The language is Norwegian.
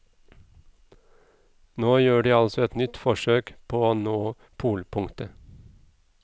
Nå gjør de altså et nytt forsøk på å nå polpunktet.